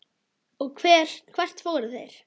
Og hvert fóru þeir?